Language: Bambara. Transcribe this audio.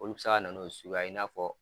Olu bɛ se kana n'o suguya ye i n'a fɔ